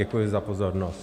Děkuji za pozornost.